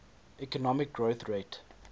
economic growth rate